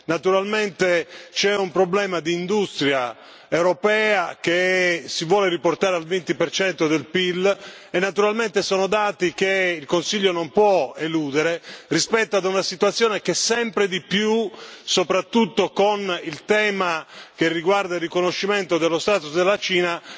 Naturalmente c'è un problema di industria europea che si vuole riportare al 20 del PIL, e naturalmente sono dati che il Consiglio non può eludere rispetto ad una situazione che sempre di più, soprattutto con il tema che riguarda il riconoscimento dello status della Cina,